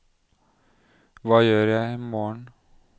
hva gjør jeg imorgen